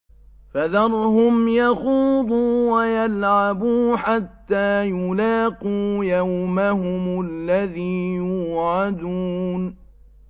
فَذَرْهُمْ يَخُوضُوا وَيَلْعَبُوا حَتَّىٰ يُلَاقُوا يَوْمَهُمُ الَّذِي يُوعَدُونَ